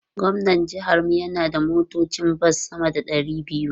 Gwamnan jihar mu yana da motocin bas sama da ɗari biyu.